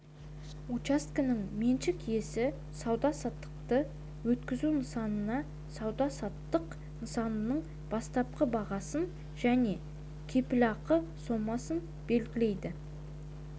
учаскесінің меншік иесі сауда-саттықты өткізу нысанын сауда-саттық нысанасының бастапқы бағасын және кепілақы сомасын белгілейді